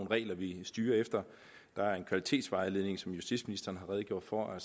og regler vi styrer efter der er en kvalitetsvejledning som justitsministeren redegjorde for